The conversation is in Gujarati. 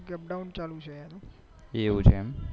એવું છે એમ